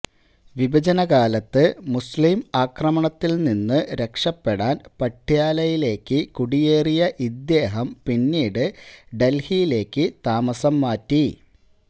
വിഭജനകാലത്ത് മുസ്ലീം ആക്രമണത്തിൽ നിന്നു രാക്ഷപ്പെടാൻ പട്യാലയിലേക്ക് കുടിയേറിയ ഇദ്ദേഹം പിന്നീട് ഡൽഹിയിലേക്കു താമസം മാറ്റി